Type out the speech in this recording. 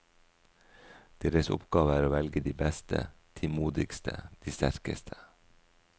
Deres oppgave er å velge de beste, de modigste, de sterkeste.